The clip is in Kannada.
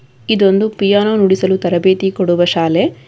ಇದೊಂದು ಪಿಯಾನೋ ನುಡಿಸಲು ತರಬೇತಿ ಕೊಡುವ ಶಾಲೆ.